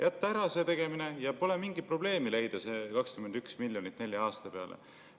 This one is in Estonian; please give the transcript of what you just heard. Jätta ära selle tegemine, ja pole mingit probleemi leida see 21 miljonit nelja aasta peale.